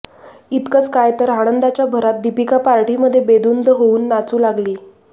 इतकंच काय तर आनंदाच्या भरात दीपिका पार्टीमध्ये बेधुंद होऊन नाचू लागली